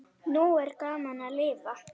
Nú er gaman að lifa!